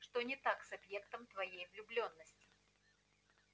что не так с объектом твоей влюблённости